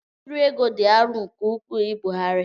Mkpụrụ ego dị arọ nke ukwuu ibugharị.